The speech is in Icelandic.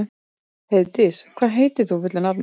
Heiðdís, hvað heitir þú fullu nafni?